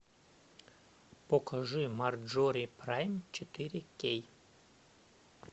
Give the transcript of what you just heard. покажи марджори прайм четыре кей